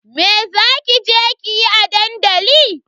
Me za ki je yi a dandali?